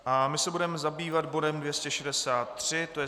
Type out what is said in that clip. A my se budeme zabývat bodem 263, to je